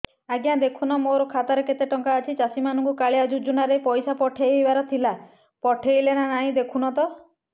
ଆଜ୍ଞା ଦେଖୁନ ନା ମୋର ଖାତାରେ କେତେ ଟଙ୍କା ଅଛି ଚାଷୀ ମାନଙ୍କୁ କାଳିଆ ଯୁଜୁନା ରେ ପଇସା ପଠେଇବାର ଥିଲା ପଠେଇଲା ନା ନାଇଁ ଦେଖୁନ ତ